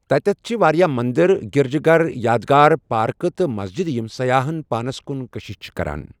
توٚتَتھ چھِ واریاہ مَندر، گِرجہٕ گَر، یادگارٕ، پارکہٕ تہٕ مسجدٕ یِم سیاحن پانَس کُن کٔشِش چھِ کران۔